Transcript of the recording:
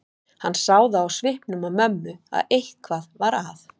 Hann sá það á svipnum á mömmu að eitthvað var að.